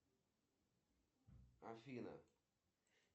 салют посмотреть любовь и голуби